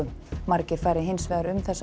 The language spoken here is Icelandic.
margir fari hins vegar um þessa